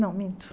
Não, minto.